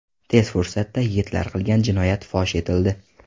Tez fursatda yigitlar qilgan jinoyat fosh etildi.